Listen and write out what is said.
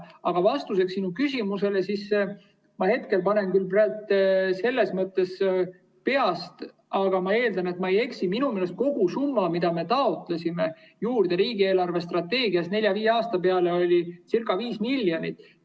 Aga vastuseks sinu küsimusele: ma hetkel ütlen küll peast, aga ma eeldan, et ma ei eksi, et minu meelest kogusumma, mida me taotlesime juurde riigi eelarvestrateegias nelja-viie aasta peale, oli ca 5 miljonit.